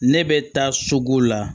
Ne bɛ taa sugu la